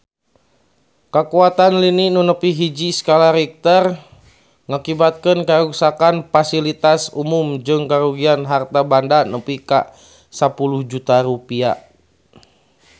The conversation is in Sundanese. Kakuatan lini nu nepi hiji skala Richter ngakibatkeun karuksakan pasilitas umum jeung karugian harta banda nepi ka 10 juta rupiah